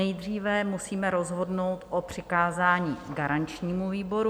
Nejdříve musíme rozhodnout o přikázání garančnímu výboru.